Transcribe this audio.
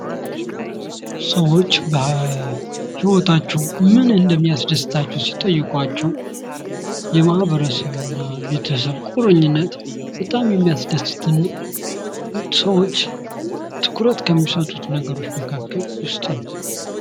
ሰዎች በሂወታቸው ምን እንደሚያስደስታቸው ሲጠይቋቸው የማህበረሰብ እና ቤተሰብ ቁርኝነት በጣም የሚያስደስተን ሰዎች ትኩረት ከሚሰጡት ነገሮች መካከል ውስጥ ነው ።